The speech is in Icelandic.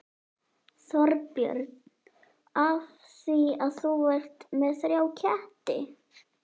Þorbjörn: Af því að þú ert með þrjá ketti?